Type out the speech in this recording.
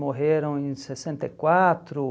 Morreram em sessenta e quatro